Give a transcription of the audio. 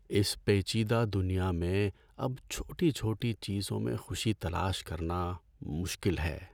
اس پیچیدہ دنیا میں اب چھوٹی چھوٹی چیزوں میں خوشی تلاش کرنا مشکل ہے۔